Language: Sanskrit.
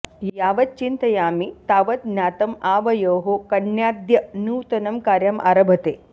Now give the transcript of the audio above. यावत् चिन्तयामि तावत् ज्ञातं आवयोः कन्याद्य नूतनं कार्यम् आरभते